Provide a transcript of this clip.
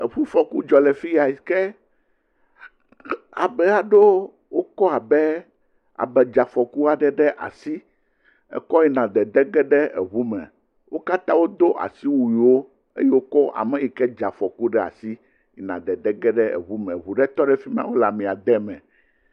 Eŋufɔku dzɔ le fi ya ke ame aɖewo wokɔ abe amedzeafɔku aɖe ɖe asi kɔ yina dedege eŋume, wo katã wodo asiwuiwo eye wokɔ ane si ke dze afɔku laɖe asi yina dedege eŋu me eŋu ɖe tɔ ɖe fi ma wole amea de me.